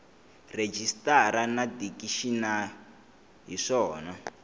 rejistara na dikixini hi swona